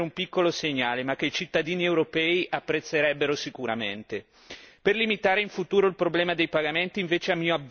Per limitare in futuro il problema dei pagamenti, invece a mio avviso, la soluzione al momento è soltanto una ridurre gli impegni.